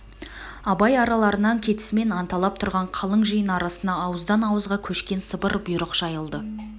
абай араларынан кетісімен анталап тұрған қалың жиын арасына ауыздан-ауызға көшкен сыбыр бұйрық жайылды